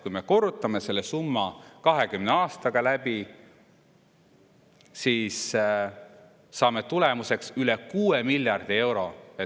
Kui me korrutame selle summa 20 aastaga läbi, siis saame tulemuseks üle 6 miljardi euro.